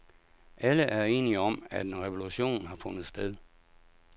Alle er enige om, at en revolution har fundet sted.